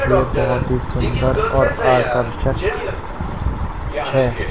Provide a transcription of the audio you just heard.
ये बहोत ही सुंदर और आकर्षक है।